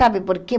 Sabe por quê?